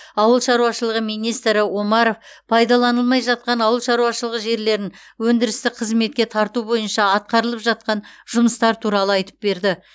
ауыл шаруашылығы министрі омаров пайдаланылмай жатқан ауыл шаруашылығы жерлерін өндірістік қызметке тарту бойынша атқарылып жатқан жұмыстар туралы айтып берді